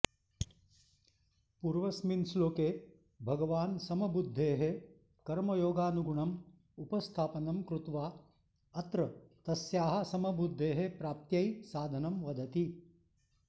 पूर्वस्मिन् श्लोके भगवान् समबुद्धेः कर्मयोगानुगुणम् उपस्थापनं कृत्वा अत्र तस्याः समबुद्धेः प्राप्त्यै साधनं वदति